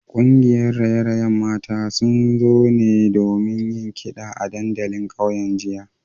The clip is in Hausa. Kungiyar raye-rayen mata sun zo ne domin yin kida a dandalin kauyen jiya